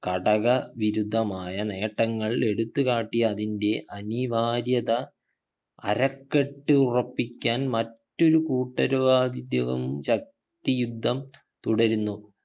ഘടകവിരുദ്ധമായ നേട്ടങ്ങൾ എടുത്തു കാട്ടി അതിന്റെ അനിവാര്യത അരക്കെട്ട് ഉറപ്പിക്കാൻ മറ്റൊരു കൂട്ടരുവാവിധ്യവും ശക്തിയുദ്ധം തുടരുന്നു